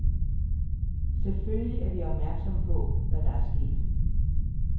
Selvfølgelig er vi opmærksomme på, hvad der er sket.